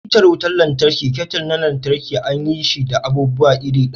Hita wutar lantarki da kettle na lantarki an yi shi da abubuwa iri ɗaya